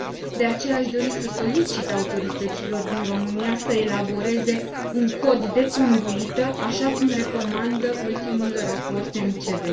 De aceea aș dori să solicit autorităților din România să elaboreze un cod de conduită, așa cum recomandă ultimul raport MCV.